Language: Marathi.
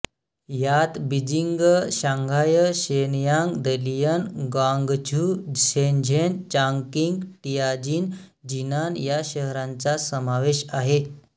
यात Beijing Shanghai Shenyang Dalian Guangzhou Shenzhen Chongqing Tianjin Jinan या शहरांचा समावेश आहे